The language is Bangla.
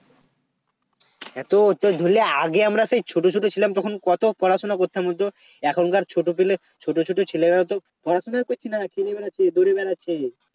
এত তোর ধরলে আগে সেই আমরা ছোট ছোট ছিলাম তখন কত পড়াশোনা করতাম বলতো এখনকার ছোট পেলে ছোট ছোট ছেলেরা তো পড়াশোনাই করছে নারে খেলে বেড়াচ্ছে দৌড়ে বেড়াচ্ছে